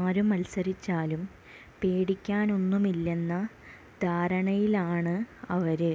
ആര് മത്സരിച്ചാലും പേടിക്കാനൊന്നുമില്ലെന്ന ധാരണയിലാണ് അവര്